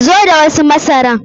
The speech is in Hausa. Zo da wasu masara!